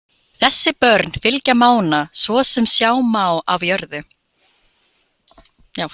Þessi börn fylgja Mána, svo sem sjá má af jörðu.